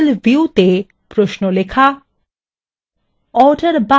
SQL viewতে প্রশ্ন লেখা